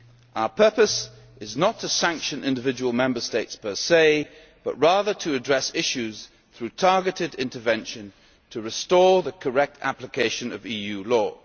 Our purpose is not to sanction individual Member States per se, but rather to address issues through targeted intervention to restore the correct application of EU